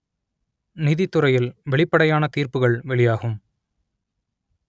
நீதித்துறையில் வெளிப்படையான தீர்ப்புகள் வெளியாகும்